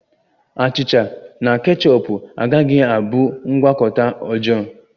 Achịcha na kechọp agaghi abụ ngwakọta ọjọọ